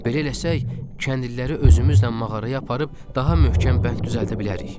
Belə eləsək, kəndliləri özümüzlə mağaraya aparıb daha möhkəm bənd düzəldə bilərik.